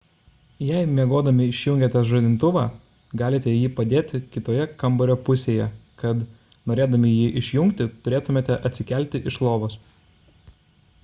jei miegodami išjungiate žadintuvą galite jį padėti kitoje kambario pusėje kad norėdami jį išjungti turėtumėte atsikelti iš lovos